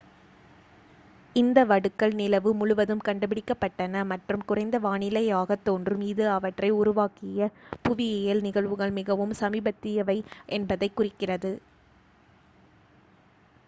இந்த வடுக்கள் நிலவு முழுவதும் கண்டுபிடிக்கப்பட்டன மற்றும் குறைந்த வானிலையாகத் தோன்றும் இது அவற்றை உருவாக்கிய புவியியல் நிகழ்வுகள் மிகவும் சமீபத்தியவை என்பதைக் குறிக்கிறது